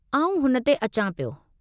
आउं हुन ते अचां पियो।